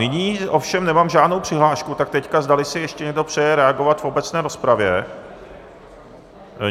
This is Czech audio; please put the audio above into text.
Nyní ovšem nemám žádnou přihlášku, tak teď zdali si ještě někdo přeje reagovat v obecné rozpravě.